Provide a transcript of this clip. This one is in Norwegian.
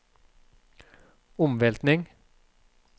omveltning